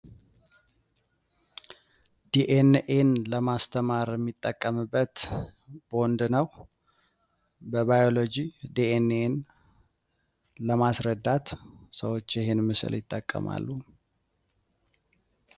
ድ ኤን ኤ ለማስተማር የሚጠቀምበት ቦንድ ነው። በባዮሎጂ ድ ኤን ኤን ለማስረዳት ሰዎች ይህን ምስል ይጠቀማሉ።